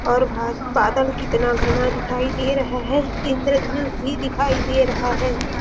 और बादल कितना घाना दिखाई दे रहा है इंद्र धनुष भी दिखाई दे रहा है।